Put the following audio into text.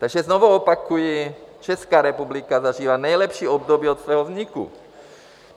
Takže znovu opakuji, Česká republika zažívá nejlepší období od svého vzniku.